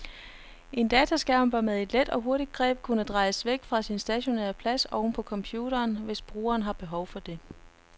En dataskærm bør med et let og hurtigt greb kunne drejes væk fra sin stationære plads oven på computeren, hvis brugeren har behov for det.